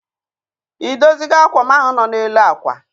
I dozi go ákwà m ahụ nọ n'elu akwa?